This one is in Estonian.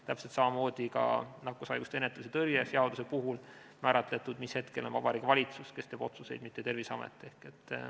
Täpselt samamoodi on ka nakkushaiguste ennetamise ja tõrje seaduses määratletud, mis hetkel on Vabariigi Valitsus see, kes teeb otsuseid, mitte Terviseamet.